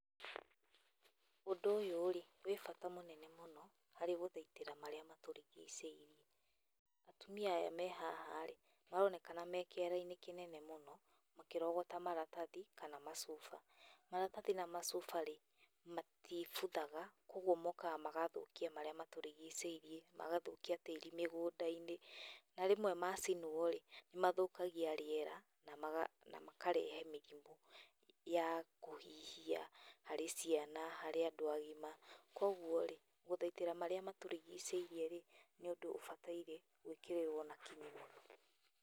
Ũndũ ũyũ-rĩ wĩ bata mũnene mũno harĩ gũthaitĩra marĩa maturigicĩirie. Atumia aya me haha rĩ, maronekana me kĩara-inĩ kĩnene mũno, makĩrogota maratathi kana macuba. Maratathi na macuba-rĩ matibuthaga, koguo mokaga magathũkia marĩa maũrigicĩirie, magathũkia tĩri mĩngũnda-inĩ, na rĩmwe macinwo-rĩ nĩ mathũkagia rĩera na na makarehe mĩrimũ ya hũhihia harĩ ciana, harĩ andũ agima. Koguo rĩ, gũthaitĩra marĩa matũrigicĩirie rĩ, nĩ ũndũ ũbataire gwĩkĩrĩrwo na kinyi mũno.